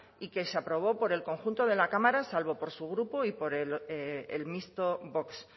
y que se aprobó por el conjunto de la cámara salvo por su grupo y por el mixto vox